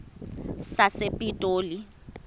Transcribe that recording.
sasepitoli